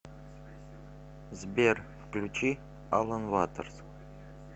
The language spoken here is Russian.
сбер включи алан ватерс